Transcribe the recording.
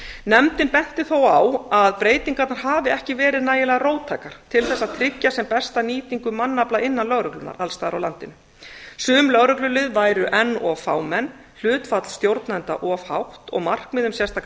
nefndin benti þó á að breytingarnar hafi ekki verið nægilega róttækar til þess að tryggja sem besta nýtingu mannafla innan lögreglunnar alls staðar á landinu sum lögreglulið væru enn of fámenn hlutfall stjórnenda of hátt og markmið um sérstakar